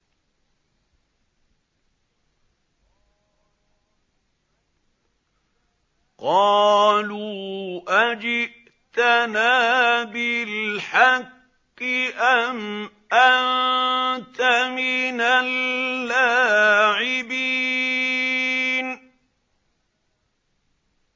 قَالُوا أَجِئْتَنَا بِالْحَقِّ أَمْ أَنتَ مِنَ اللَّاعِبِينَ